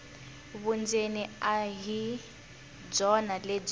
vundzeni a hi byona lebyi